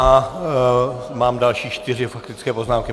A mám další čtyři faktické poznámky.